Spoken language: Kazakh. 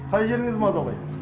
қай жеріңіз мазалайды